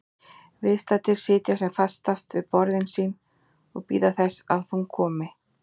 Viðstaddir sitja sem fastast við borðin sín og bíða þess að hún komi.